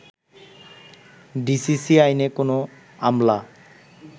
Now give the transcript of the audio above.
DCC আইনে কোনো আমলা